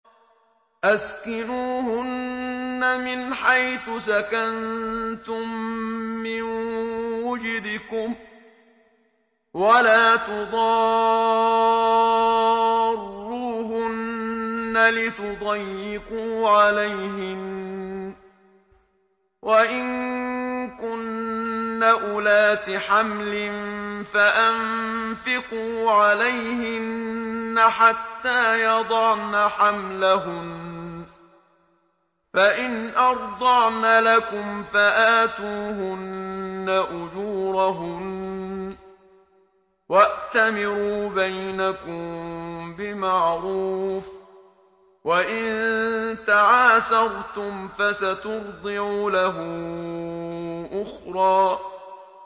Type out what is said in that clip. أَسْكِنُوهُنَّ مِنْ حَيْثُ سَكَنتُم مِّن وُجْدِكُمْ وَلَا تُضَارُّوهُنَّ لِتُضَيِّقُوا عَلَيْهِنَّ ۚ وَإِن كُنَّ أُولَاتِ حَمْلٍ فَأَنفِقُوا عَلَيْهِنَّ حَتَّىٰ يَضَعْنَ حَمْلَهُنَّ ۚ فَإِنْ أَرْضَعْنَ لَكُمْ فَآتُوهُنَّ أُجُورَهُنَّ ۖ وَأْتَمِرُوا بَيْنَكُم بِمَعْرُوفٍ ۖ وَإِن تَعَاسَرْتُمْ فَسَتُرْضِعُ لَهُ أُخْرَىٰ